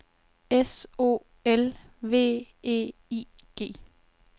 S O L V E I G